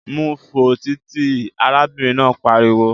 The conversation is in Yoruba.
Mú u fo títì! Arábìnrin náà pariwo